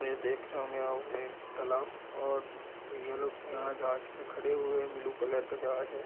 ये देख रहे होंगे एक तालाब और ये लोग यहाँ जहाज पे खड़े हुए है ब्लू कलर का जहाज है ।